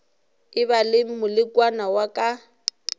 eba le molekane wa ka